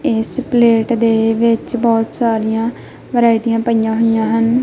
ਇਸ ਪਲੇਟ ਦੇ ਵਿੱਚ ਬਹੁਤ ਸਾਰਿਆਂ ਵੇਰਾਈਟੀਆਂ ਪਈਯਾਂ ਹੋਇਆ ਹਨ।